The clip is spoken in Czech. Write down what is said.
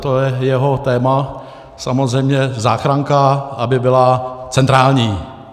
To je jeho téma, samozřejmě, záchranka, aby byla centrální.